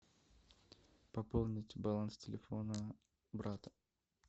пополнить баланс телефона брата